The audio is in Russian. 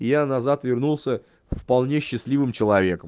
я назад вернулся вполне счастливым человеком